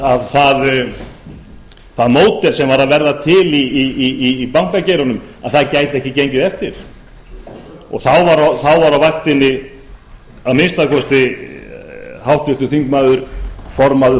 að það módel sem var að verða til í bankageiranum gæti ekki gengið eftir þá var á vaktinni að minnsta kosti háttvirtur formaður